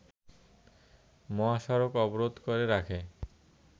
মহাসড়ক অবরোধ করে রাখে